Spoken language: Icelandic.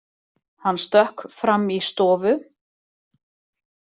Hann stökk fram í stofu.